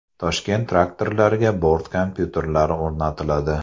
Toshkent traktorlariga bort kompyuterlari o‘rnatiladi.